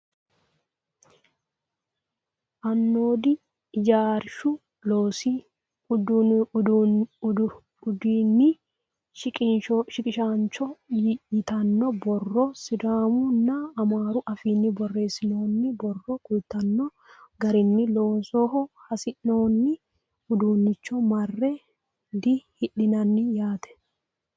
Anoodi ijaarshu loosi udiiinni shiqishaancho yittanno borro sidaamu nna amaaru affinni borreessinoonni borro kulittanno garinni loosoho hasi'noonni uddunicho marre dihoonganni yaatte